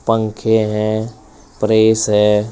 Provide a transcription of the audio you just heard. पंखे हैं प्रेस है।